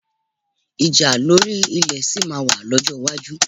Ìjà lórí ilẹ̀ sì máa wà lọ́jọ́ iwájú